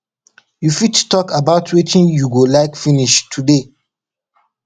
you fit talk about wetin you go like finish today